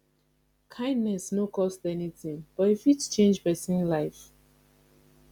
kindness no cost anything but e fit change person life